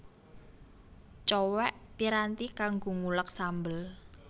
Cowèk piranti kanggo nguleg sambel